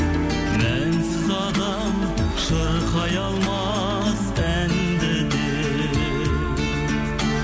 мәнсіз адам шырқай алмас әнді де